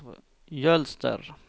Jølster